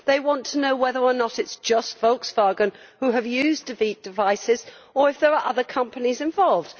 They want to know whether or not it is just Volkswagen who has used defeat devices or if there are other companies involved.